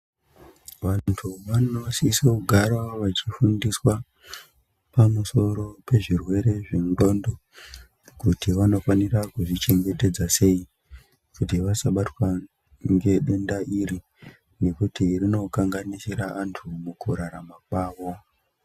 Vantu vano siso kugara vachi fundiswa pa musoro pe zvirwere zve ndxondo kuti vano fanira kuzvi chengetedza sei kuti vasa batwa nge denda iri ngekuti rino kanganisira antu muku rarama kwavo.